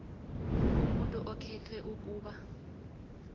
umuntu okhethwe ukuba